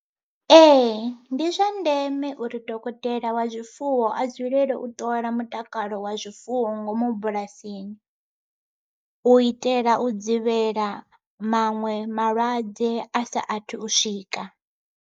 Ee ndi zwa ndeme uri dokotela wa zwifuwo a dzulele u ṱola mutakalo wa zwifuwo ngomu bulasini, u itela u dzivhela maṅwe malwadze a sa athu u swika.